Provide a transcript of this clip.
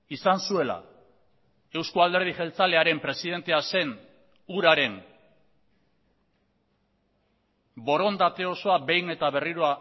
izan zuela euzko alderdi jeltzalearen presidentea zen huraren borondate osoa behin eta berriro